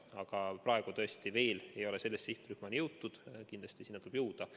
Aga praegu tõesti veel ei ole selle sihtrühmani jõutud, kindlasti sinna tuleb jõuda.